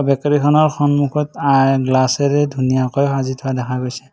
Bakery খনৰ সন্মুখত আই গ্লাছ ৰে ধুনীয়াকৈ সাজি থোৱা দেখা গৈছে।